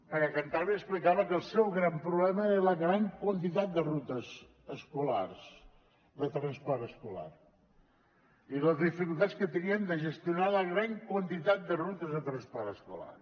perquè cantàbria explicava que el seu gran problema era la gran quantitat de rutes escolars de transport escolar i les dificultats que tenien de gestionar la gran quantitat de rutes de transport escolar